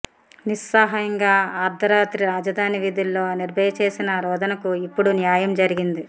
నిస్సహాయంగా ఆర్థరాత్రి రాజధాని వీధుల్లో నిర్భయ చేసిన రోదనకు ఇప్పుడు న్యాయం జరిగింది